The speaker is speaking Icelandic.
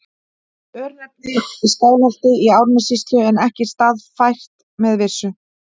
Örnefni í Skálholti í Árnessýslu en ekki staðfært með vissu.